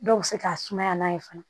Dɔw bɛ se ka sumaya n'a ye fana